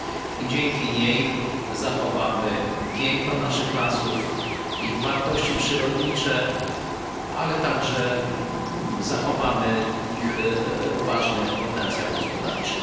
I dzięki niej zachowamy piękno naszych lasów, ich wartości przyrodnicze, ale także zachowamy ich ważny potencjał gospodarczy.